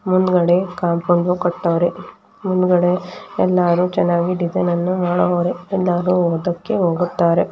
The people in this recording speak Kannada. ಮುಂದುಗಡೆ ಕಾಂಪೌಂಡ್ ಕಟ್ಟವರೆ ಮುಂದುಗಡೆ ಎಲ್ಲರು ಚನ್ನಾಗಿ ಡಿಸೈನ್ ಅನ್ನು ಮಾಡವ್ರೆ ಎಲ್ಲರು ಓದಕ್ಕೆ ಹೋಗುತ್ತಾರೆ.